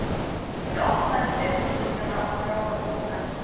Ég opnaði skrifborðsskúffuna og dró fram bunkann.